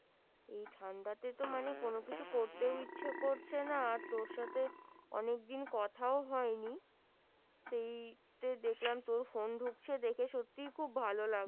এই ঠান্ডাতে তো মানে কোন কিছু করতে ও ইচ্ছে করছে না আর তোর সাথে অনেক দিন কথাও হয় নি ।সেই দেখলাম তোর ফোন ঢুকছে দেখে সত্যি খুব ভালো লাগলো